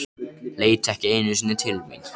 Leit ekki einu sinni til mín.